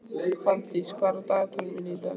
Fanndís, hvað er á dagatalinu mínu í dag?